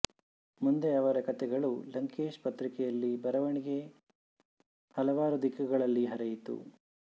ಮುಂದೆ ಅವರ ಕತೆಗಳು ಲಂಕೇಶ್ ಪತ್ರಿಕೆಯಲ್ಲಿ ಬರವಣಿಗೆ ಹಲವಾರು ದಿಕ್ಕುಗಳಲ್ಲಿ ಹರಿಯಿತು